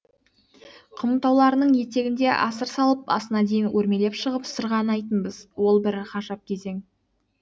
құмтауларының етегінде асыр салып басына дейін өрмелеп шығып сырғанайтынбыз ол бір ғажап кезең